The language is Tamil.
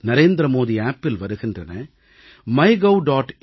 நரேந்திர மோடி செயலியில் வருகின்றன மைகவ்